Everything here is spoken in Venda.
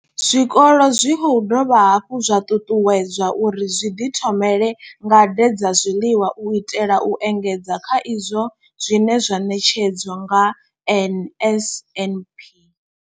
Zwikolo zwi khou dovha hafhu zwa ṱuṱuwedzwa uri zwi ḓi thomele ngade dza zwiḽiwa u itela u engedza kha izwo zwine zwa ṋetshedzwa nga NSNP.